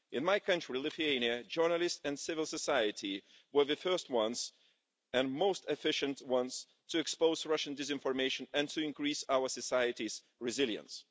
In my country, Lithuania, journalists and civil society were the first ones, and the most efficient ones, to expose Russian disinformation and to increase our societies' resilience.